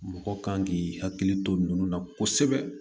Mɔgɔ kan k'i hakili to ninnu na kosɛbɛ